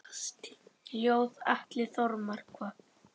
Ljóð: Atli Þormar